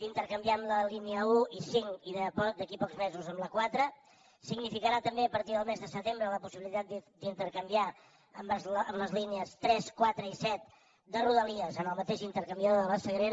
d’intercanviar amb la línia un i cinc i d’aquí a pocs mesos amb la quatre significarà també a partir del mes de setembre la possibilitat d’intercanviar amb les línies tres quatre i set de rodalies en el mateix intercanviador de la sagrera